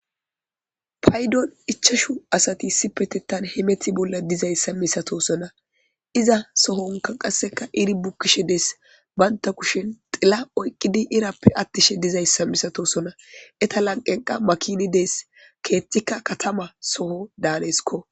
paydon ichashu asati sipetettan hemeti bolla dizayssa misatosona iza sohonka qasseka iri bukkishe dees baynta kushen xila oyqqidi irappe attishe dizayssa misatosona eta lanqenqa makini dees keeththikka katama soho daanesko